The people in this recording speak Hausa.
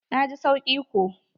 Na ji sauki ko.